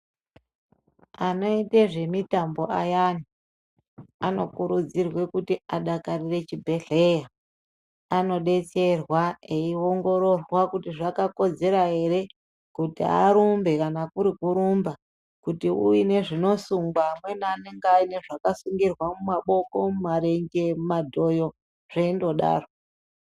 Anoite zvemitambo ayani, anokuridzirwe kuti adakarire chibhehleya. Anodetserwa eiongororwa kuti zvakakodzera here kuti arumbe kana kuri kurumba. Kuti uine zvinosungwa, amweni anenge aine zvakasungirwa mubaboko, mumarenje, mumadhoyo zveindodaro.